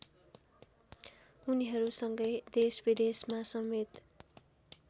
उनीहरूसँगै देशविदेशमा समेत